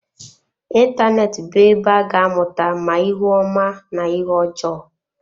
Ịntanetị bụ ebe a ga-amụta ma ihe ọma na ihe ọjọọ.